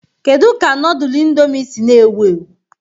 Kedu ka nudul Indomie si na ewu ewu?